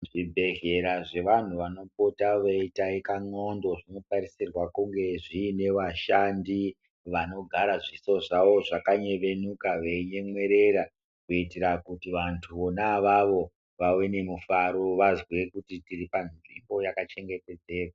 Zvibhedhlera zvevanhu vanopota veitaika ndxondo zvinotarisirwa kunge zviine vashandi, vanogara zviso zvavo zvakanyevenuka, veinyemwerera, kuitire kuti vantu vona avavo vave nemufaro, vazwe kuti tiri panzvimbo yakachengetedzeka.